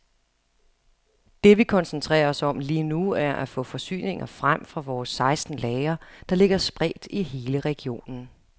Det vi koncentrerer os om lige nu, er at få forsyninger frem fra vores seksten lagre, der ligger spredt i hele regionen.